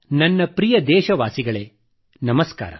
ನನ್ನ ಪ್ರಿಯ ದೇಶವಾಸಿಗಳೇ ನಮಸ್ಕಾರ